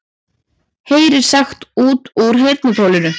Heyrir sagt út úr heyrnartólinu